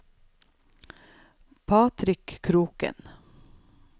Patrick Kroken